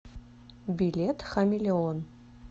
билет хамелеон